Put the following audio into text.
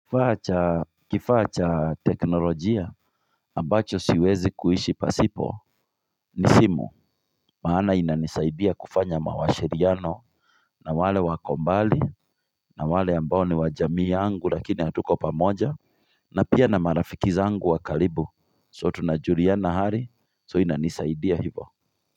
Kifaa cha teknolojia ambacho siwezi kuishi pasipo ni simu Maana inanisaidia kufanya mawashiriano na wale wako mbali na wale ambao ni wa jamii yangu lakini hatuko pamoja na pia na marafiki zangu wa karibu so tunajuliana hali so inanisaidia hivo.